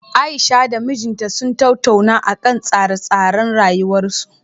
Aisha da mijinta sun tattauna akan tsare-tsaren rayuwarsu